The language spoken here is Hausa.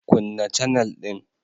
Kunna canel din.